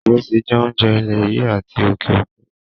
Ìrẹsí jẹ́ oúnjẹ ilè yìí àti òkè òkun.